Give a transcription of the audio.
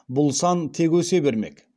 бұл сан тек өсе бермек